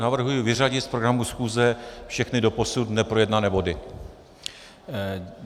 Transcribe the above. Navrhuji vyřadit z programu schůze všechny doposud neprojednané body.